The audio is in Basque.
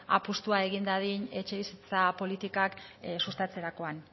apustua egin dadin etxebizitza politikak sustatzerakoan